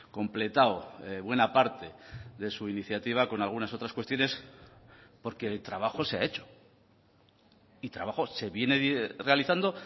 completado buena parte de su iniciativa con algunas otras cuestiones porque el trabajo se ha hecho y trabajo se viene realizando